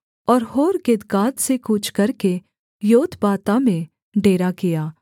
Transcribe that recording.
और होर्हग्गिदगाद से कूच करके योतबाता में डेरा किया